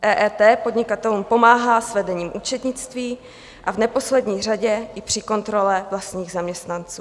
EET podnikatelům pomáhá s vedením účetnictví a v neposlední řadě i při kontrole vlastních zaměstnanců.